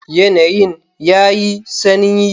Yanayin yayi sanyi.